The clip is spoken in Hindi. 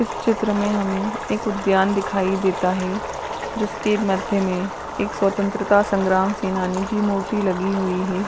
इस चित्र में हमें एक उद्यान दिखाई देता है जिसके मध्य में एक स्वतन्त्रता संग्राम सेनानी की मूर्ति लगी हुई है।